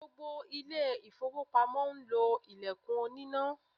Gbogbo ilé-ifowopamo ń lo ilẹkun oníná.